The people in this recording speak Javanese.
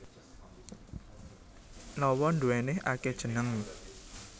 Lawa nduwéni akéh jeneng